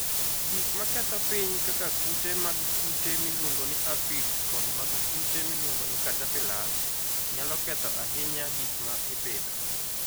Gik maketho piny kaka kute mag kute miluongo ni aphids kod mag kute miluongo ni caterpillars, nyalo ketho ahinya gik ma ipidho.